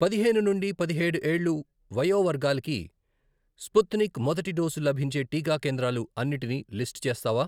పదిహేను నుండి పదిహేడు ఏళ్లు వయో వర్గాలకి స్పుత్నిక్ మొదటి డోసు లభించే టికా కేంద్రాలు అన్నిటినీ లిస్టు చేస్తావా?